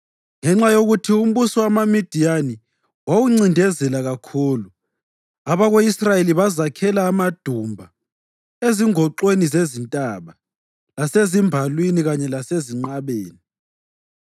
Ngenxa yokuthi umbuso wamaMidiyani wawuncindezela kakhulu, abako-Israyeli bazakhela amadumba ezingoxweni zezintaba, lasezimbalwini kanye lasezinqabeni.